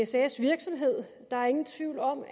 sas virksomhed der er ingen tvivl om